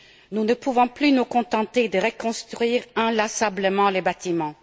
Nous ne pouvons plus nous contenter de reconstruire inlassablement les bâtiments.